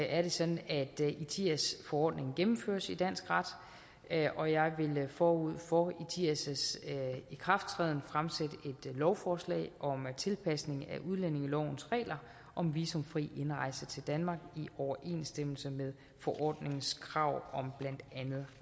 er det sådan at etias forordningen gennemføres i dansk ret og jeg vil forud for etias ikrafttræden fremsætte et lovforslag om tilpasning af udlændingelovens regler om visumfri indrejse til danmark i overensstemmelse med forordningens krav om blandt andet